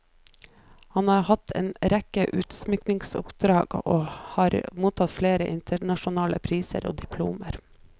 Han har hatt en rekke utsmykningsoppdrag, og har mottatt flere internasjonale priser og diplomer.